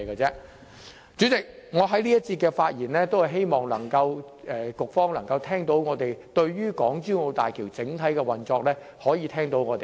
主席，我在這一節發言，是希望局方能夠聽取我們對港珠澳大橋整體運作的意見。